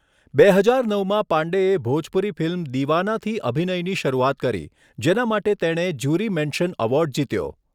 બે હજાર નવમાં પાંડેએ ભોજપુરી ફિલ્મ દીવાનાથી અભિનયની શરૂઆત કરી, જેના માટે તેણે જ્યુરી મેન્શન એવોર્ડ જીત્યો.